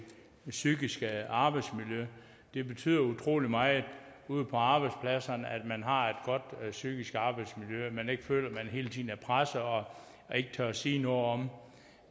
psykiske arbejdsmiljø det betyder utrolig meget ude på arbejdspladserne at man har et godt psykisk arbejdsmiljø at man ikke føler at man hele tiden er presset og ikke tør sige noget om